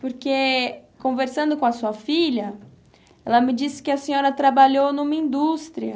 Porque, conversando com a sua filha, ela me disse que a senhora trabalhou numa indústria.